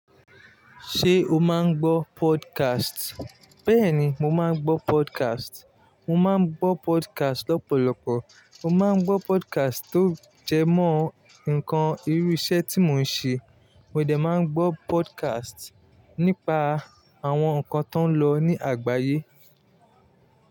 Ṣé o máa ń gbọ́ podcast? Bẹ́ẹ̀ni, mo máa ń gbọ́ podcast. Mo máa ń gbọ́ podcast lọ́pọ̀lọpọ̀. Mo máa ń gbọ́ podcast tó jẹmọ́ nǹkan irú iṣẹ́ tí mò ń ṣe. Mo dẹ̀ máa ń gbọ́ podcast nípa àwọn nǹkan tó ń lọ ní àgbáyé.